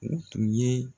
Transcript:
U tun ye